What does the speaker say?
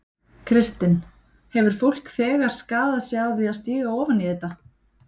Kristinn: Hefur fólk þegar skaðað sig á því að stíga ofan í þetta?